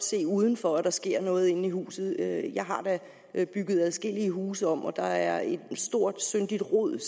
se udenfor at der sker noget inde i huset jeg har da bygget adskillige huse om og der er også et stort syndigt rod